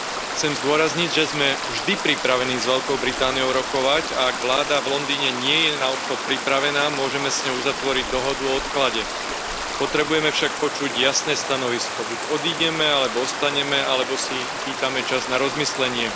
Chcem zdôrazniť, že sme vždy pripravení s Veľkou Britániou rokovať a ak vláda v Londýne nie je na odchod pripravená, môžeme s ňou uzatvoriť dohodu o odklade. Potrebujeme však počuť jasné stanovisko. Buď odídeme, alebo ostaneme, alebo si vypýtame čas na rozmyslenie.